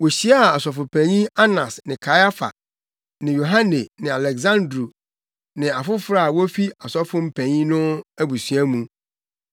Wohyiaa Ɔsɔfopanyin Anas ne Kaiafa ne Yohane ne Aleksandro ne afoforo a wofi Ɔsɔfopanyin no abusua mu.